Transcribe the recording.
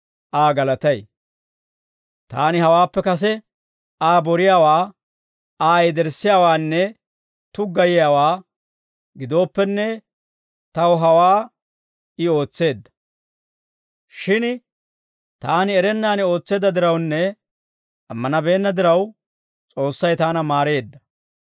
Taani hawaappe kase Aa boriyaawaa, Aa yederssiyaawaanne tuggayiyaawaa gidooppenne, taw hawaa I ootseedda. Shin taani erennaan ootseedda dirawunne ammanabeenna diraw, S'oossay taana maareedda.